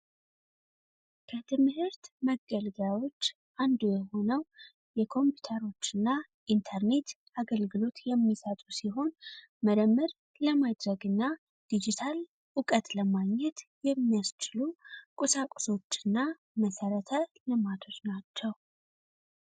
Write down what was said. የትመህርት መገልገያዎች አንዱ የሆነው የ ኮምፒዉተሮች እና የኢንተርኔት አገልግሎት የሚሰጡ ሲሆን ምርመር ለማድረግ እና ዲጂታል እውቀት ለማግኘት የሚያስችሉ ቁሳቁሶች እና መሠረተ ልማቶች ናቸው።